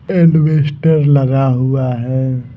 Investor लगा हुआ हैं ।